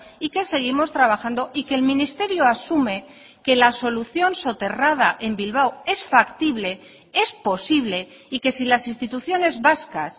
y que seguimos trabajando y que el ministerio asume que la solución soterrada en bilbao es factible es posible y que si las instituciones vascas